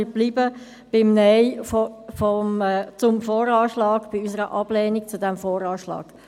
Wir bleiben beim Nein zum VA, bei unserer Ablehnung dieses VA.